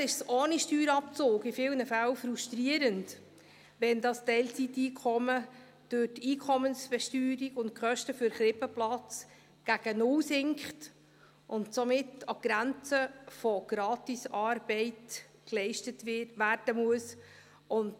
Finanziell ist es ohne Steuerabzug in vielen Fällen frustrierend, wenn das Teilzeiteinkommen durch die Einkommensbesteuerung und die Kosten des Krippenplatzes gegen null sinkt und somit etwas geleistet werden muss, das sich an der Grenze zur Gratisarbeit befindet.